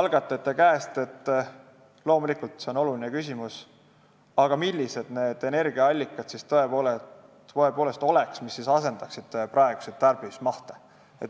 algatajate käest, et see on oluline teema, aga millised siis oleksid need energiaallikad, mis võimaldaksid säilitada praeguseid tarbimismahte.